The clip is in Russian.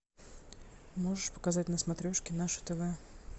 можешь показать на смотрешке наше тв